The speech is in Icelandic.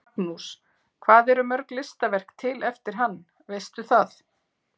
Magnús: Hvað eru mörg listaverk til eftir hann, veistu það?